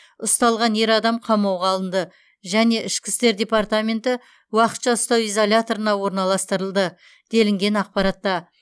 ұсталған ер адам қамауға алынды және ішкі істер департаменті уақытша ұстау изоляторына орналастырылды делінген ақпаратта